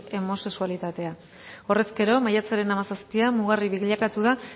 homosexualitatea horrez gero maiatzaren hamazazpian mugarri bilakatu da